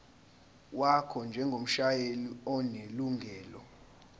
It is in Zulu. wakho njengomshayeli onelungelo